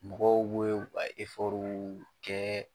Mɔgɔw b'o e u ka w kɛɛ